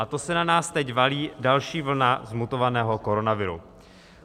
A to se na nás teď valí další vlna zmutovaného koronaviru.